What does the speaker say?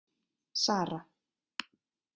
Sara